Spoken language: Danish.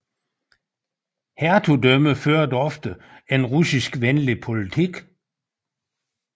Hertugdømmet førte ofte en russiskvenlig politik